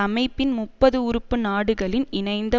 அமைப்பின் முப்பது உறுப்பு நாடுகளின் இணைந்த